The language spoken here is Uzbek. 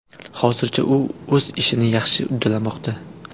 Hozircha u o‘z ishini yaxshi uddalamoqda.